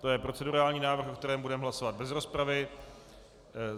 To je procedurální návrh, o kterém budeme hlasovat bez rozpravy.